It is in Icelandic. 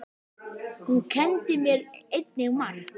Hún kenndi mér einnig margt.